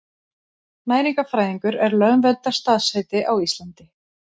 Næringarfræðingur er lögverndað starfsheiti á Íslandi.